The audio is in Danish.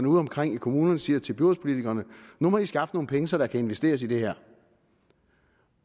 udeomkring i kommunerne siger til byrådspolitikerne nu må i skaffe nogle penge så der kan investeres i det her